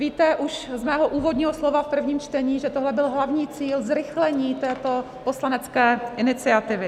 Víte už z mého úvodního slova v prvním čtení, že tohle byl hlavní cíl zrychlení této poslanecké iniciativy.